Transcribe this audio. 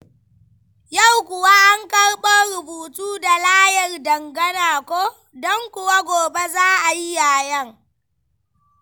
Yau kuwa an karɓo rubutu da layar dangana ko? Don kuwa gobe za a yi yayen.